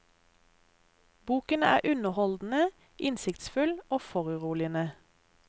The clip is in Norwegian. Boken er underholdende, innsiktsfull og foruroligende.